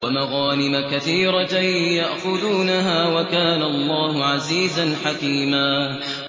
وَمَغَانِمَ كَثِيرَةً يَأْخُذُونَهَا ۗ وَكَانَ اللَّهُ عَزِيزًا حَكِيمًا